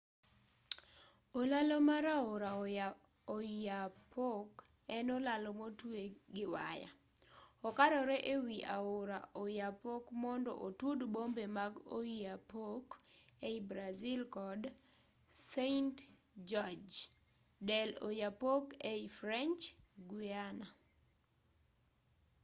olalo mar aora oyapock en olalo motwe gi waya okarore e wi aora oyapock mondo otud bombe mag oiapoque ei brazil kod saint-georges dei'oyapock ei french guiana